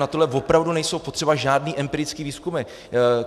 Na toto opravdu nejsou potřeba žádné empirické výzkumy.